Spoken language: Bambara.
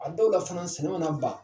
A dɔw la sunan sɛnɛ mana ba